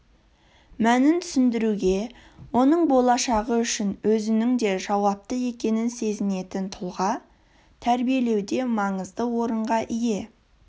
мәнін түсіндіруге оның болашағы үшін өзінің де жауапты екенін сезінетін тұлға тәрбиелеуде маңызды орынға ие